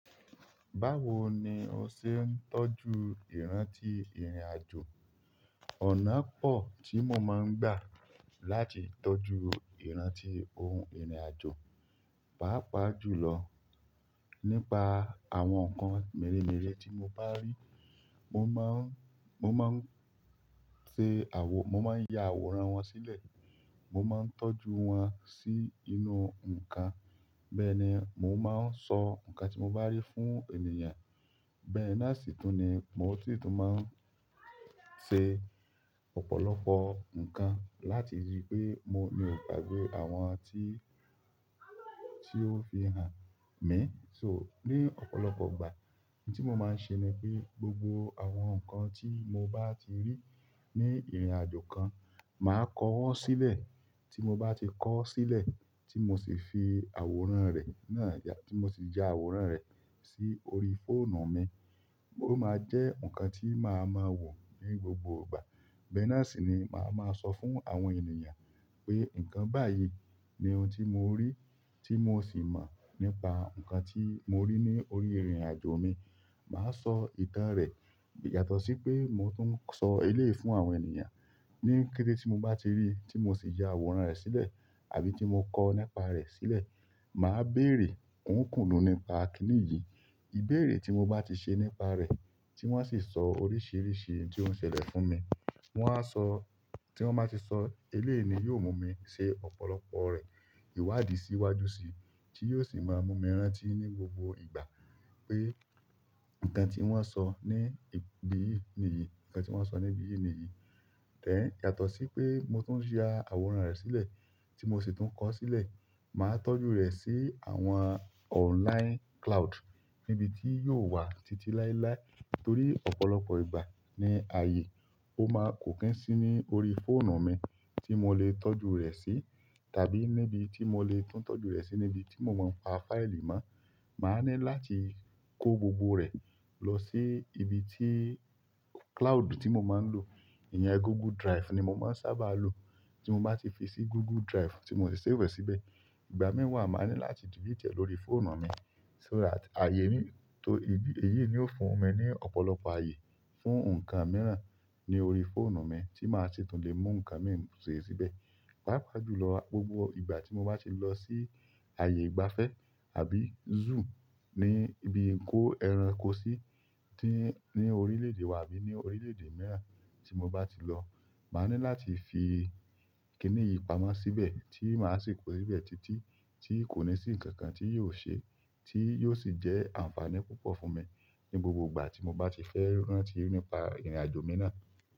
Báwo ni o ṣe ń tọ́jú ìrántí ìrìnàjò? Ọ̀nà pọ̀ tí mo máa ń gbà láti tọ́jú ìrántí ohun ìrìnàjò. Pàápàá jùlọ nípa àwọn nkan mère mère tí mo ba ri mo maa n mo maa n se mo maa n ya àwòrán wọn sile mo maa n tọ́jú wọn sínú nkán. Bẹ́ẹ̀ ni mò ń máa sọ nǹkan tí mo bá rí fún ènìyàn. Bẹ́ẹ̀ náà sì tún ni mò si tún máa ń ṣe ọ̀pọ̀lọpọ̀ nǹkan láti rí pé mo ni ò gbagbe àwọn àti, tí ó fi hàn mi. So ní ọ̀pọ̀lọpọ̀ ìgbà, ohun tí mo máa ṣe ni pé gbogbo àwọn nǹkan tí mo bá ti rí ní ìrìnàjò kan, màá kọ́ wọn sílẹ̀. Tí mo bá ti kọ ọ́ sílẹ̀, tí mo sì fi àwòrán rẹ̀ náà ya, tí mo sì ya àwòrán rẹ̀ sí orí fóònù mi, ó máa je nǹkan tí màá máa wò ní gbogbo ìgbà. Bẹ́ẹ̀ náà sì ni màá máa sọ fún àwọn ènìyàn pé nǹkan báyìí ni ohun tí mo rí tí mò sì mọ́ nípa nǹkan tí mo rí ní orí ìrìnàjò mi. Màá sọ ìtàn rẹ̀ yàtọ̀ sí pé mò tún sọ eléyìí fún àwọn ènìyàn. Ní kété tí mo bá ti rí tí mo sì ya àwòrán rẹ̀ sílẹ̀ àbí tí mo kọ nípa rẹ̀ sílẹ̀, màá béèrè, "N ó kúnu nípa kíní yìí?" Ìbéèrè tí mo bá ti ṣe nípa rẹ̀ tí wọ́n sì sọ oríṣìíríṣìí ohun tí ó ń ṣẹlẹ̀ fún mi. Wọn á sọ, tí wọ́n bá ti sọ eléyìí ni yóò mú mi ṣe ọ̀pọ̀lọpọ̀ rẹ̀ ìwádìí síwájú síi tí yóò sì máa mú mi rántí ní gbogbo ìgbà pé nǹkan tí wọ́n sọ ní ìbí yìí nìyí, nǹkan tí wọ́n sọ ní ìbí yìí nìyí. Tẹ́ẹ̀ yàtọ̀ sí pé mò tún ya àwòrán rẹ̀ sílẹ̀ tí mò sì tún kọ ọ́ sílẹ̀, màá tọ́jú rẹ̀ sí àwọn online cloud níbi tí yóò wà títí láéláé. Nítorí ọ̀pọ̀lọpọ̀ ìgbà ní ààyè, ó máa kò kín sí ní orí fóònù mi tí mo lè tọ́jú rẹ̀ sí tàbí níbi tí mo lè tún tọ́jú rẹ̀ sí níbi tí mò máa ń pa fáìlì máa. Maa ni láti ko gbogbo re losi ibi ti cloud ti mo maa n lo iyen googu drive ni mo maa sábà lo. Tí mo bá ti fi sí Google Drive tí mò sì ṣíwẹ̀ síbẹ̀, ìgbà mìí wa màá ní láti dìlìt ẹ̀ lórí fóònù mi. So that ààyè ní, torí ìdí èyí ni ó fún mi ní ọ̀pọ̀lọpọ̀ ààyè fún nǹkan mìíràn ní orí fóònù mi tí màá ṣi tún lè mu nǹkan mìí se síbẹ̀. Páapaa jù lọ, gbogbo ìgbà tí mo bá ti lọ sí ààyè ìgbafẹ́ àbí zoo ní ibi kó ẹranko sí tí ní orílẹ̀-èdè wa àbí ní orílẹ̀-èdè mìíràn tí mo bá ti lọ, màá ní láti fi kíní yìí pamọ́ síbẹ̀ tí màá sì kó síbẹ̀ títí tí kò ní sí ǹkan kan tí yóò se tí yóò sì jẹ́ àǹfààní púpọ̀ fún mi ní gbogbo ìgbà tí mo bá ti fẹ́ rántí nípa ìrìnàjò mi náà.